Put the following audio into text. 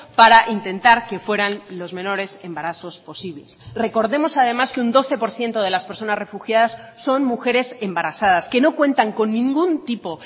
para intentar que fueran los menores embarazos posibles recordemos además que un doce por ciento de las personas refugiadas son mujeres embarazadas que no cuentan con ningún tipo